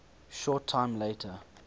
short time later